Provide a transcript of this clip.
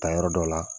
Ta yɔrɔ dɔ la